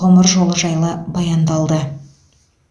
ғұмыр жолы жайлы баяндалды